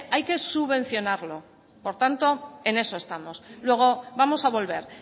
hay que subvencionarlo por tanto en eso estamos luego vamos a volver